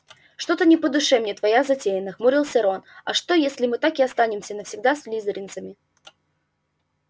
что-то не по душе мне твоя затея нахмурился рон а что если мы так и останемся навсегда слизеринцами